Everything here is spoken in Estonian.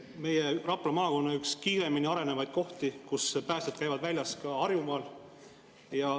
See on Rapla maakonna üks kiiremini arenevaid kohti, kust päästjad käivad väljas ka Harjumaal.